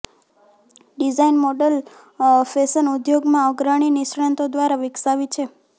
design model fashion ઉદ્યોગમાં અગ્રણી નિષ્ણાતો દ્વારા વિકસાવી છે